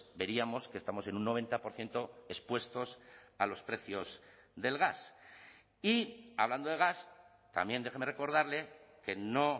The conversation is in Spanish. veríamos que estamos en un noventa por ciento expuestos a los precios del gas y hablando de gas también déjeme recordarle que no